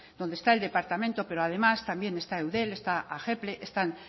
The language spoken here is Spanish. donde está el departamento pero además también está eudel está están